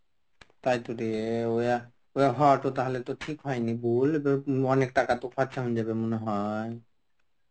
তাই তোরে তাহলে তো ঠিক হয়নি বল অনেক টাকা তো খরচা হয়ে যাবে মনে হয়.